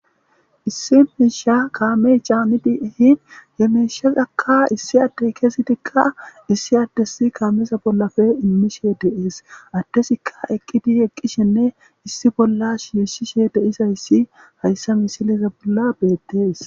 issi miisha kaamey caaniti ehin yemeshasakka issi adde kesi tikka issi addes kaamesa bollafe immishe deees addesikka eqqiti eqqishinne issi bollas yushishe deisayssi hayssa misilisa bolla beettees